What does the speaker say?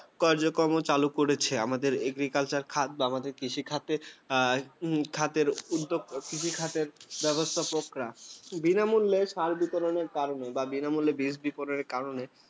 কার্যক্রম চালু করেছে। আমাদের এগ্রিকালচার খাদ্য, আমাদের কৃষিখাতের আর খাতের উদ্যোক্তা, কৃষিখাতের ব্যবস্থাপকরা। বিনামূল্যে সার বিতরণের কারণে বা বিনামূল্যে বীজ বিতরণের কারণে